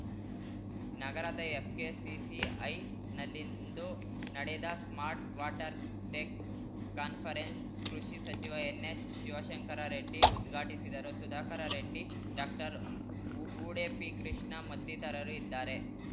ನಗರದ ಎಫ್‌ಕೆಸಿಸಿ‌ಐ ನಲ್ಲಿಂದು ನಡೆದ smart water tech conference ಕೃಷಿ ಸಚಿವ ಎನ್ಹೆಚ್ಶಿವಶಂಕರ ರೆಡ್ಡಿ ಉದ್ಘಾಟಿಸಿದರು ಸುಧಾಕರ ರೆಡ್ಡಿ ಡಾಕ್ಟರ್ವೂಡೆಪಿಕೃಷ್ಣ ಮತ್ತಿತರರು ಇದ್ದಾರೆ